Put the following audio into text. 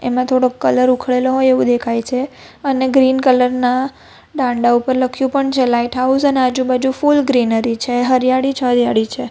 ને થોડોક કલર ઉખડેલો હોય એવુ દેખાય છે અને ગ્રીન કલર ના ડાંડા ઉપર લખ્યું પણ છે લાઇટ હાઉસ અને આજુ બાજુ ફુલ ગ્રીનરી છે હરિયાળી જ હરિયાળી છે.